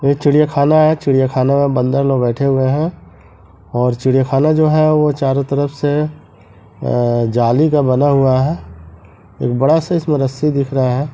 ये चिड़ियाखाना है चिड़ियाखाना में बंदर लोग बैठे हुए हैं और चिड़ियाखाना जो है वो चारो तरफ से अ जाली का बना हुआ है एक बड़ा सा इसमें रस्सी दिख रहा है।